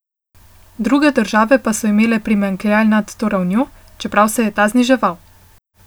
Druge države pa so imele primanjkljaj nad to ravnjo, čeprav se je ta zniževal.